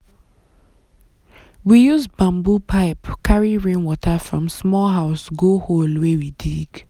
we use bamboo pipe carry rainwater from small house go hole wey we dig.